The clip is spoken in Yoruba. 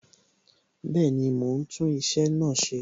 Bẹẹni, mo ń tún iṣẹ́ náà ṣe